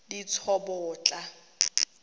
ditsobotla